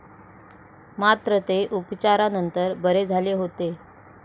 मात्र, ते उपचारानंतर बरे झाले होते.